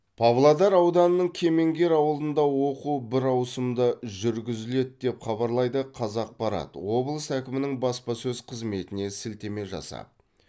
павлодар ауданының кемеңгер ауылында оқу бір ауысымда жүргізіледі деп хабарлайды қазақпарат облыс әкімінің баспасөз қызметіне сілтеме жасап